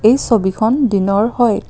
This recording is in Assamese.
এই ছবিখন দিনৰ হয়।